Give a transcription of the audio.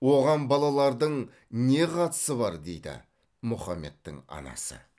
оған балалардың не қатысы бар дейді мұхаммедтің анасы